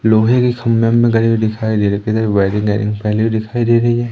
लोहे के खंभे वम्भे गढ़े हुए दिखाई दे रहे है इधर वायरिंग रायरिंग फैली हुई दिखाई दे रही है।